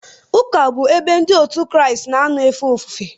Ụka bụ ebe Ndị Kraịst na-anọ efe ofufe.